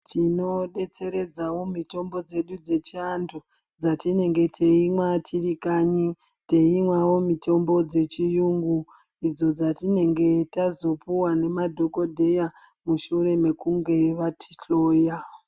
Tinodetseredzawo mitombo dzeedu dzechiantu dzatinenge teimwa tirikanyi teimwawo mitombo yechiyungu dzatinenge tazopiwa nemadhokodheya mushure mekunge vatihloya